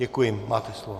Děkuji, máte slovo.